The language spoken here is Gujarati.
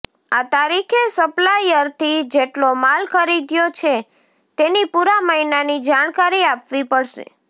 આ તારીખે સપ્લાયરથી જેટલો માલ ખરીદ્યો છે તેની પૂરા મહિનાની જાણકારી આપવી પડશે